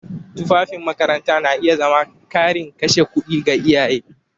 Tufafin makaranta na iya zama ƙarin kashe kuɗi ga iyaye.